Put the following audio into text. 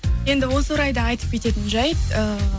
енді осы орайда айтып кететін жайт эээ